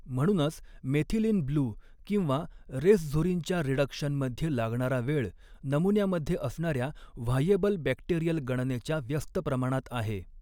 म्हणूनच मेथिलीनब्लू किंवा रेसझुरिनच्या रिडक्शन मध्ये लागणारा वेळ नमुन्यामध्ये असणाऱ्या व्हायेबल बॅक्टेरिअल गणनेच्या व्यस्त प्रमाणात आहे.